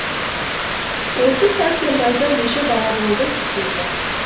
осы сәрсенбайда неше бала болды деді